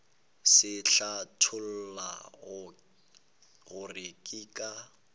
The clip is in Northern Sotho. se hlatholla gore ke ka